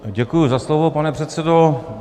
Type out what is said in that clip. Děkuji za slovo, pane předsedo.